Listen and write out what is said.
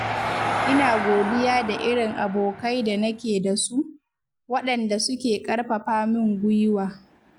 Ina godiya da irin abokai da nake da su, waɗanda suke ƙarfafa min gwiwa.